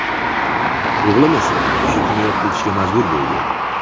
O‘g‘lim esa o‘sha kuniyoq ketishga majbur bo‘ldi.